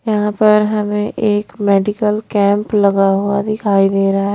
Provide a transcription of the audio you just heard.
यहां पर हमें एक मेडिकल कैंप लगा हुआ दिखाई दे रहा हैं।